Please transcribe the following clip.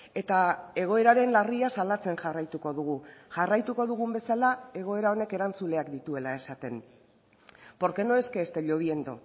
eta egoeraren larria salatzen jarraituko dugu jarraituko dugun bezala egoera honek erantzuleak dituela esaten porque no es que esté lloviendo